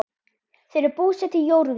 Þau eru búsett í Jórvík.